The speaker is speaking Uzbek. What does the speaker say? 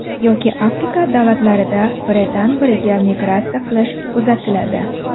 Yoki Afrika davlatlarida biridan biriga migratsiya qilish kuzatiladi.